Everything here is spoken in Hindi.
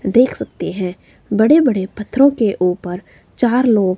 देख सकते हैं बड़े बड़े पत्थरो के ऊपर चार लोग--